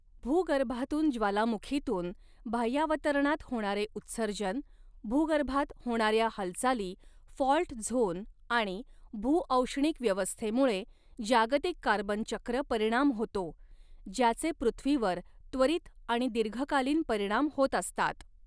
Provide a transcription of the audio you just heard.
भूगर्भातून ज्वालामुखीतून बाह्यावतरणात होणारे उत्सर्जन, भूगर्भात होणाऱ्या हालचाली फॉल्ट झोन आणि भूऔष्णिक व्यवस्थेमुळे जागतिक कार्बन चक्र परिणाम होतो, ज्याचे पृथ्वीवर त्वरित आणि दीर्घकालीन परिणाम होत असतात.